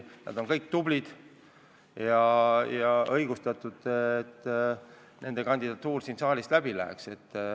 Nad on kõik tublid ja oleks õigustatud, et nende kandidatuur siin saalis läbi läheks.